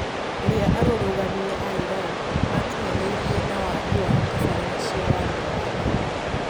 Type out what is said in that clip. ũria arũrũgani a Iran makinyanirie na wagi wa tabarira cia waria wa nenda